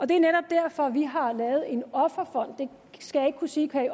det er netop derfor vi har lavet en offerfond jeg skal ikke kunne sige